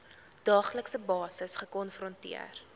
daaglikse basis gekonfronteer